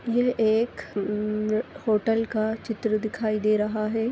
यह एक होटल का चित्र दिखाई दे रहा है।